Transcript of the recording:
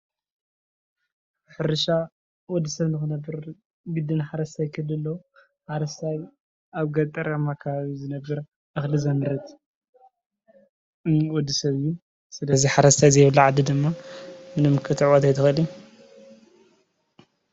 ሕርሻ ወድሰብ ንክነበር ግደን ሓረስታይ ክህሉ ኣለዎ ።ሓረስታይ ኣብ ገጠራማ ከባቢ ዝነበር እኽሊ ዘምርት ንወዲ ሰብ እዩ። ስለዚ ሓረስታይ ዘይብላ ዓዲ ድማ ምንም ክትዕወት ኣይትኽእልን።